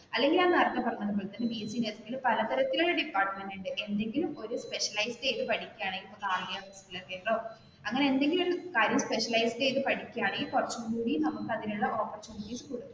അല്ലെങ്കിൽ ഞാൻ നേരത്തെ പറഞ്ഞ പോലെ ബി എസ് സി നഴ്സിംഗ് പല തരത്തിലുള്ള ഡിപ്പാർട്മെന്റ് ഉണ്ട് എന്തെങ്കിലും ഒരു സ്പെഷ്യലൈസ് ചെയ്തു പഠിക്കുകയാണെങ്കിൽ അങ്ങനെ എന്തെങ്കിലും ഒരു കാര്യംസ്പെഷ്യലൈസ് ചെയ്തു പഠിക്കുകയാണെകിൽ, കുറച്ചും കൂടി നമുക്ക് അതിനുളള ഓപ്പർച്യൂണിറ്റീസ്